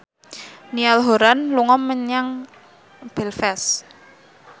Niall Horran lunga dhateng Belfast